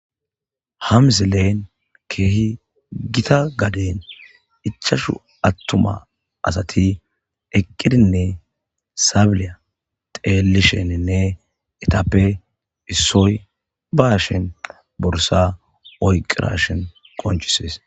hamzeleen keehi gita gaden ichashu attuma asati eqqidinne saabilya xeelisheninne etappe issoy bashen borsa oyqirashen qonchisees